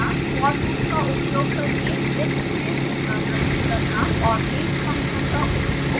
for loop का उपयोग करके लिस्ट में पुनरावृति करना और range फंक्शन का उपयोग करना